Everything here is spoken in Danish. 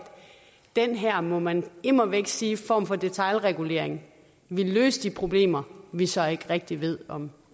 den her må man immer væk sige form for detailregulering vil løse de problemer vi så ikke rigtig ved om